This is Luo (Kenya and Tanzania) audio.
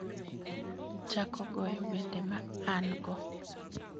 chako goyo wende ma an - go